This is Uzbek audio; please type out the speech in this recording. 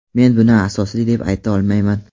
Men buni asosli deb ayta olmayman.